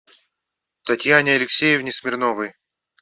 татьяне алексеевне смирновой